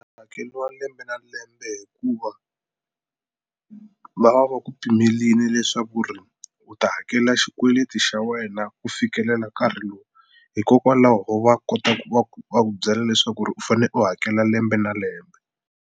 Hakeriwa lembe na lembe hikuva va va va ku pimerile leswaku ri u ta hakela xikweleti xa wena ku fikelela nkarhi lowu. Hikokwalaho va kota ku va ku va ku byela leswaku ri u fanele u hakela lembe na lembe.